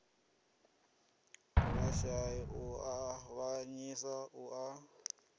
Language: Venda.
vhashai u avhanyisa na u